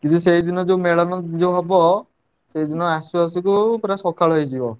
କିନ୍ତୁ ସେଇଦିନ ମେଳଣ ଯୋଉ ହବ ସେଦିନ ଆସୁ ଆସୁ ସକାଳ ହେଇଯିବ।